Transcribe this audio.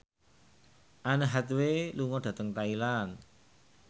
Anne Hathaway lunga dhateng Thailand